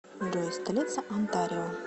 джой столица онтарио